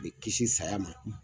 A bɛ kisi saya ma.